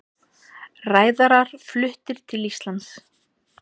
Ræðarar fluttir til Íslands